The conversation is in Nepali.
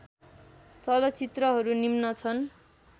चलचित्रहरू निम्न छन्